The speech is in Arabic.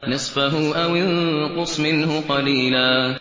نِّصْفَهُ أَوِ انقُصْ مِنْهُ قَلِيلًا